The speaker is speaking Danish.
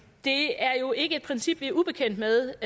det er jo ikke et princip vi er ubekendt med